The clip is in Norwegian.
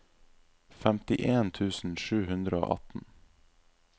femtien tusen sju hundre og atten